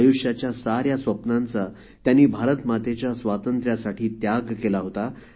आयुष्याच्या साऱ्या स्वप्नांचा त्यांनी भारत मातेच्या स्वातंत्र्यासाठी त्याग केला होता